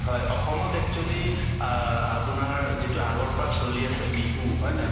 হয় অসমত actually অ আপোনাৰ যিটো আগৰ পৰা চলি আছে বিহু হয়নে নাই